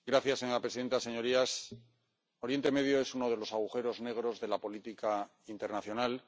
Señora presidenta, señorías, Oriente Medio es uno de los agujeros negros de la política internacional.